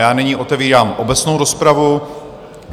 Já nyní otevírám obecnou rozpravu.